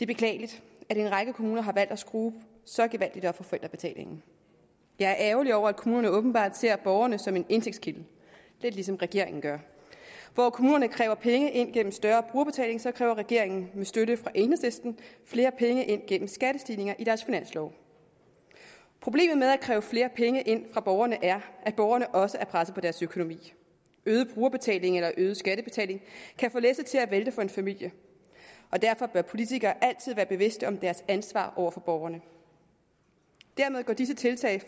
beklageligt at en række kommuner har valgt at skrue så gevaldigt op for forældrebetalingen jeg er ærgerlig over at kommunerne åbenbart ser borgerne som en indtægtskilde lidt ligesom regeringen gør hvor kommunerne kræver penge ind gennem større brugerbetaling så kræver regeringen med støtte fra enhedslisten flere penge ind gennem skattestigninger i deres finanslov problemet med at kræve flere penge ind fra borgerne er at borgerne også er presset på deres økonomi øget brugerbetaling eller øget skattebetaling kan få læsset til at vælte for en familie og derfor bør politikere altid være bevidste om deres ansvar over for borgerne dermed går disse tiltag